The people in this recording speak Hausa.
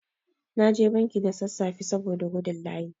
Na je banki da sassafe saboda gudun layi.